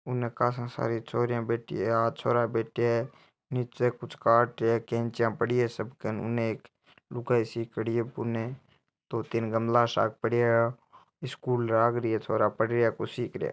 उन काशा सारी छोरिया बैठी है आ छोरा बैठया है नीचे कुछ कार्ट है केंचिया पड़ी है सब कने उन एक लुगाई सिख्योड़ी है बुने दो तीन गमला सा पड़या है स्कूल लाग रही है छोरा पढ़ रिया है कुछ सिख रहिया है।